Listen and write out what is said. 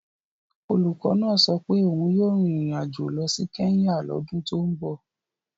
Olùkọ́ náà sọ pé òun yóò rin ìrìn àjò lọ sí Kenya lọ́dún tó ń bọ̀.